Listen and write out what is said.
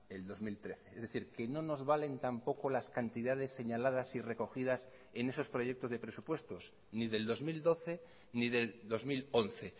el dos mil trece es decir que no nos valen tampoco las cantidades señaladas y recogidas en esos proyectos de presupuestos ni del dos mil doce ni del dos mil once